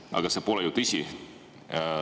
Aga see pole ju tõsi.